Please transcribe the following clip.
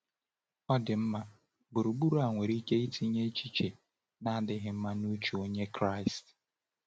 Ọdịmma gburugburu a nwere ike itinye echiche na-adịghị mma n’uche Onye Kraịst.